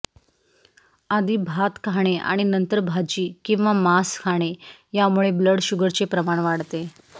आधी भात खाणे आणि नंतर भाजी किंवा मांस खाणे यामुळे ब्लड शुगरचे प्रमाण वाढते